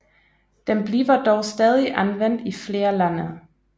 Den bliver dog stadig anvendt i flere lande